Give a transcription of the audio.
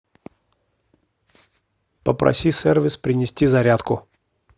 попроси сервис принести зарядку